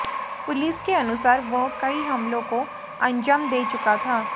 police के अनुसार वह कई हमलों को अंजाम दे चुका था